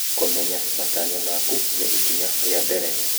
Kũmenya matanya maku nĩ ikinya rĩa mbere.